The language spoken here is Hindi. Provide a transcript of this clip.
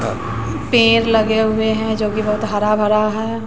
पेड़ लगे हुए हैं जो की बहुत हरा भरा है।